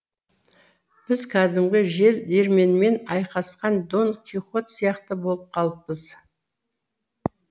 біз кәдімгі жел диірменмен айқасқан дон кихот сияқты болып қалыппыз